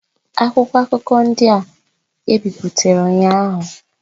Akwụkwọ akụkọ ndị a ebe ebipụtara ụnyaahụ.